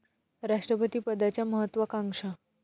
राष्ट्रपती पदाच्या महत्त्वाकांक्षा